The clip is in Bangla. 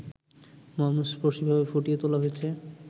মর্মস্পর্শীভাবে ফুটিয়ে তোলা হয়েছে